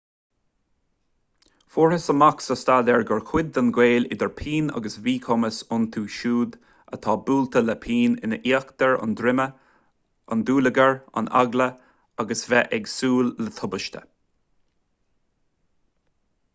fuarthas amach sa staidéar gur cuid den ghaol idir pian agus míchumas iontu siúd atá buailte le pian in íochtar an droma an dúlagar an eagla agus bheith ag súil le tubaiste